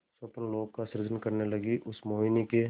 स्वप्नलोक का सृजन करने लगीउस मोहिनी के